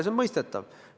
See on mõistetav.